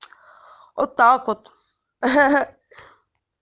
вот так вот ха-ха